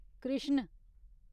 Krishna